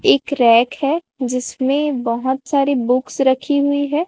एक रैक है जिसमें बहुत सारी बुक्स रखी हुई है।